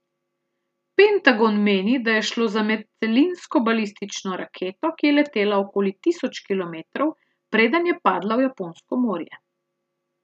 Pentagon meni, da je šlo za medcelinsko balistično raketo, ki je letela okoli tisoč kilometrov, preden je padla v Japonsko morje.